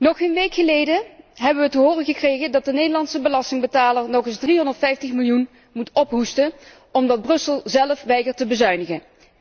Nog geen week geleden hebben wij te horen gekregen dat de Nederlandse belastingbetaler nog eens 350 miljoen moet ophoesten, omdat Brussel zelf weigert te bezuinigen.